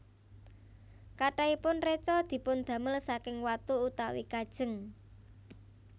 Kathahipun reca dipundamel saking watu utawi kajeng